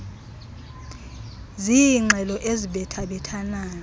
ziingxelo ezibetha bethanayo